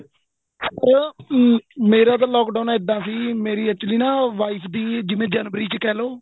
ਮੇਰਾ ਤਾਂ lock down ਏਦਾ ਸੀ ਮੇਰੀ actually ਨਾ ਮੇਰੀ wife ਦੀ ਜਿਵੇਂ ਜਨਵਰੀ ਚ ਕਹਿਲੋ